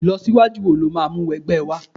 ilọsiwaju wo lo ma mu wọ ẹgbẹ wa